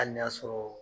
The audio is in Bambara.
Hali n'a sɔrɔ